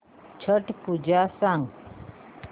छट पूजा सांग